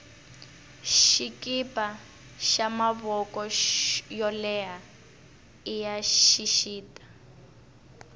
swikipa swa mavoko yo leha iya xixita